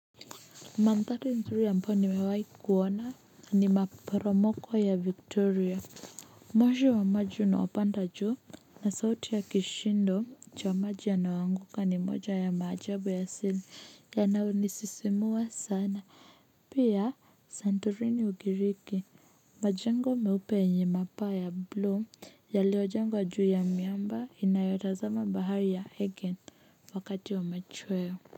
Manthari nzuri ambayo nimewai kuona ni maporomoko ya victoria moshi wa maji na unaopanda juu na sauti ya kishindo cha maji yanayoanguka ni moja ya maajabu asili yanayonisisimua sana pia santorini ugiriki majengo meupe yenye mapaa ya bluu yaliojengwa juu ya miamba inayotazama bahari ya hegen wakati wa machweo. Kwa hivyo.